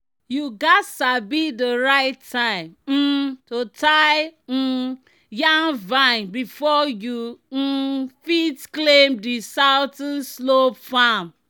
"you gats sabi di right time um to tie um yam vine before you um fit claim di southern slope farm."